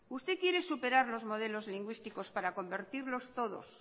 usted quiere superar los modelos lingüísticos para convertirlos todos